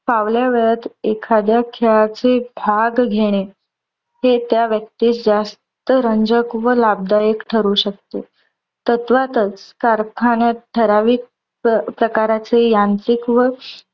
फावल्या वेळात एखाद्या खेळाचे भाग घेणे. हे त्या व्यक्तीस जास्त रंजक व लाभदायक ठरू शकते. तत्वातच कारखान्यात ठराविक प्रकारांचे यांत्रिक व